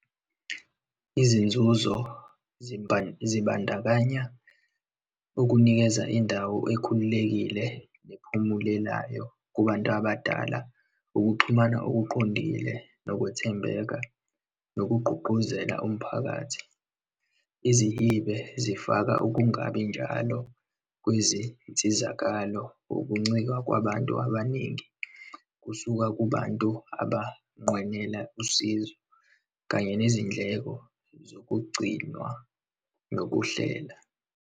Izinzuzo zibandakanya ukunikeza indawo ekhululekile nephumulelayo kubantu abadala, ukuxhumana okuqondile, nokwethembeka, nokugqugquzela umphakathi. Izihibe zifaka ukungabi njalo kwizinsizakalo, ukuncika kwabantu abaningi, kusuka kubantu abanqwenela usizo kanye nezindleko zokugcinwa nokuhlela.